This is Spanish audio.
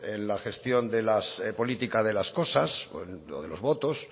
en la gestión de la política de las cosas o en lo de los votos